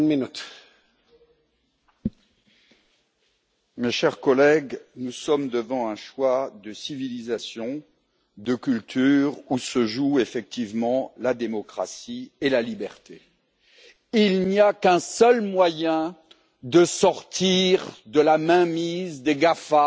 Monsieur le Président, mes chers collègues, nous sommes devant un choix de civilisation, de culture, où se jouent effectivement la démocratie et la liberté. Il n'y a qu'un seul moyen de sortir de la mainmise des GAFA